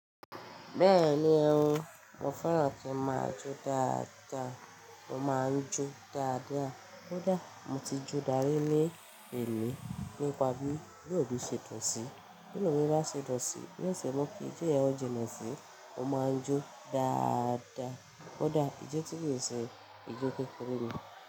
Bẹ́ẹ̀ni ó, mo fẹ́ràn kí máa jó dáadáa. Mo máa ń jó dáadáa. Kódà mo ti jó dárí ní èni, nípa bí inú mi ṣe dùn sí i. Binu mi bá ṣe dùn sí i, ni ó ṣe mu ki ijo yen o jinle sí i. Mo máa ń jó dáadáa. Kódà ìjo tí kii se ìjó kekere ni.